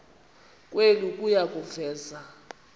kwenu kuya kuveza